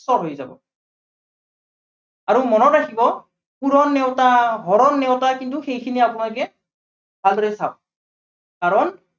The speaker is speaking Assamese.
সৱ হৈ যাব। আৰু মনত ৰাখিব পূৰণ নেওতা, হৰণ নেওতা কিন্তু সেইখিনি আপোনালোকে, ভালদৰে চাওক। কাৰন